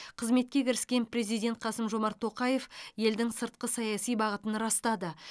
қызметке кіріскен президент қасым жомарт тоқаев елдің сыртқы саяси бағытын растады